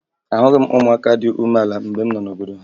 Ahụghị m ụmụaka dị umeala mgbe m nọ n'obodo ha